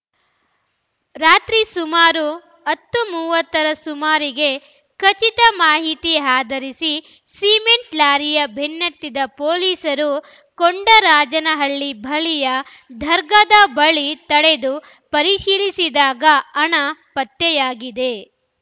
ರಾತ್ರಿ ಸುಮಾರು ಹತ್ತು ಮೂವತ್ತ ರ ಸುಮಾರಿಗೆ ಖಚಿತ ಮಾಹಿತಿ ಆಧರಿಸಿ ಸಿಮೆಂಟ್‌ ಲಾರಿಯ ಬೆನ್ನತ್ತಿದ ಪೊಲೀಸರು ಕೊಂಡರಾಜನಹಳ್ಳಿ ಬಳಿಯ ದರ್ಗಾದ ಬಳಿ ತಡೆದು ಪರಿಶೀಲಿಸಿದಾಗ ಹಣ ಪತ್ತೆಯಾಗಿದೆ